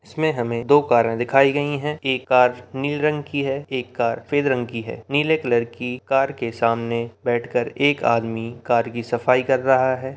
इसमें हमे दो कारे दिखाई गई है एक कार नीले रंग की है एक कार सफेद रंग की है नीले कलर की कार के सामने बैठकर एक आदमी कार की सफाई कर रहा हैं।